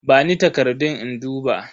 Bani takardun in duba.